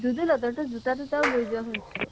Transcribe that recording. দুদুল হতৰতো জোতা তোতাও লৈ যোৱা শুনিছো